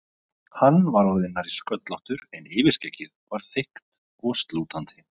Hann var orðinn nærri sköllóttur en yfirskeggið var þykkt og slútandi.